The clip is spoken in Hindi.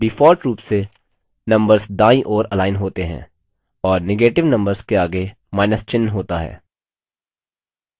default रूप से numbers दायीं ओर अलाइन होते हैं और negative numbers के आगे माइनस चिन्ह होता है